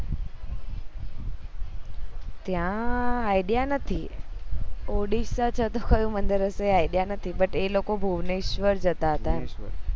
ત્યાં idea નથી ઓડીસા જે હતું મારી પાસે idea નથી નૂત એ લોકો ભુનેશ્વર જતા હતા